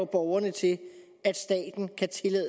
borgerne til